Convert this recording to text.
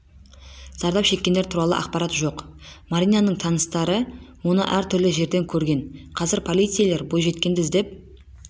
зардап шеккендер туралы ақпарат жоқ маринаның таныстары оны әр түрлі жерден көрген қазір полицейлер бойжеткенді іздеп